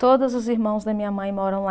Todos os irmãos da minha mãe moram lá.